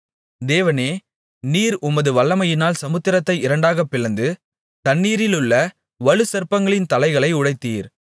தேவனே நீர் உமது வல்லமையினால் சமுத்திரத்தை இரண்டாகப் பிளந்து தண்ணீரிலுள்ள வலுசர்ப்பங்களின் தலைகளை உடைத்தீர்